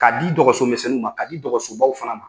K'a di dɔgɔso misɛnninw ma ka di dɔgɔso baw fana ma.